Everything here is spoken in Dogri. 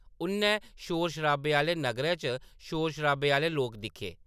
उʼन्नै शोर शराबे आह्‌‌‌ले नग्गरै च शोर शराबे आह्‌‌‌ले लोक दिक्खे ।